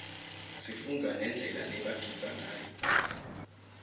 sifundza nendlela lebagidza ngayo